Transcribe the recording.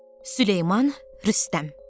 Süleyman Rüstəm.